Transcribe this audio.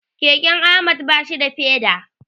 Keken Ahmad bashi da feda.